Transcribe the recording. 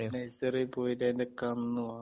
Nursery പോയിട്ട് അതിൻ്റെ കന്ന് വാങ്ങും.